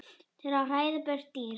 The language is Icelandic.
til að hræða burt dýr.